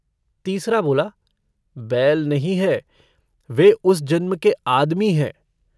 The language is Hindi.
तीसरा बोला - बैल नहीं हैं, वे उस जन्म के आदमी हैं।